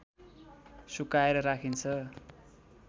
सुकाएर राखिन्छ